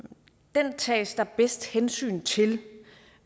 den tages der bedst hensyn til